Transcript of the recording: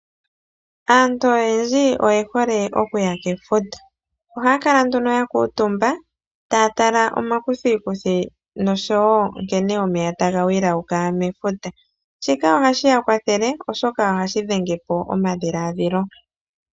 Aantu oyendji oyehole okuya komafudho. Ohaya kala nduno ya kuutumba, taya tala omakuthikuthi noshowo nkene omeya tagi inyenge mefuta. Shika ohashi ya kwathele, oshoka ohashi tidhapo omadhiladhilo.